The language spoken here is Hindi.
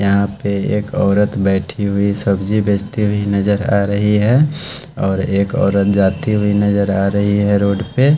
यहाँ पे एक औरत बैठी हुई सब्जी बेचती हुई नज़र आ रही है और एक औरत जाती हुई नज़र आ रही है रोड पे।